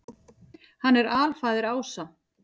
Hann er alfaðir ása.